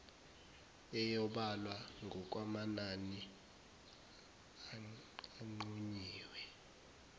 eyobalwa ngokwamanani anqunyiwe